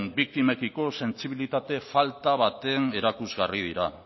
biktimekiko sentsibilitate falta baten erakusgarri dira